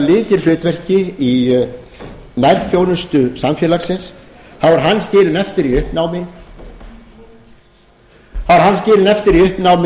lykilhlutverki í nærþjónustu samfélagsins þá er hann skilinn eftir í uppnámi það er jú